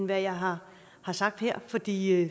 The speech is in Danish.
hvad jeg har har sagt her fordi